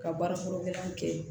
Ka baara fɔlɔ gɛlɛn kɛ